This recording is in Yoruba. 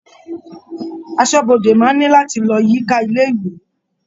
Aṣọ́bodè máa ní láti lọ yíká ilé-ìwé.